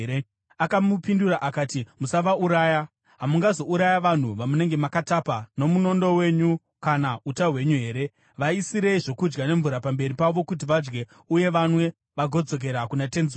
Akamupindura akati, “Musavauraya. Hamungazouraya vanhu vamunenge makatapa nomunondo wenyu kana uta hwenyu here? Vaisirei zvokudya nemvura pamberi pavo kuti vadye uye vanwe vagodzokera kuna tenzi wavo.”